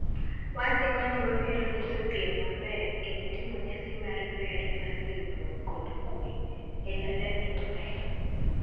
"Wasingo ni wabiro nyiso piem maber kendo timo nyasi mar ber mar riwruok kod kuwe", Elalamy nomedo